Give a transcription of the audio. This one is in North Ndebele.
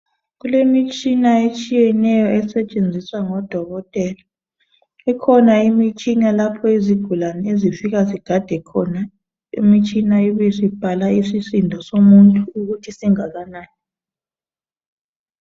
Kulemitshina etshiyeneyo esetshenziswa ngoDokotela, ikhona imitshina lapha izigulane izifika sigade khona, imitshina ibisibhala isisindo somuntu ukuthi singakanani.